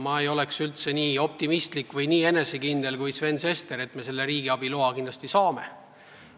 Ma ei ole nii optimistlik või nii enesekindel kui Sven Sester, kes usub, et me selle riigiabi loa kindlasti saame.